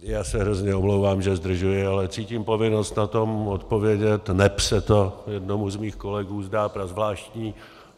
Já se hrozně omlouvám, že zdržuji, ale cítím povinnost na to odpovědět, neb se to jednomu z mých kolegů zdá prazvláštní.